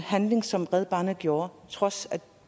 handling som red barnet gjorde trods af at